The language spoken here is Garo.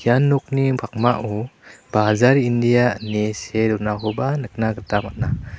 ian nokni pakmao bajar india ine see donakoba nikna gita man·a.